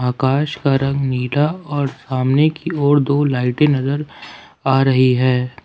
आकाश का रंग नीला और सामने की ओर दो लाइटें नजर आ रही है।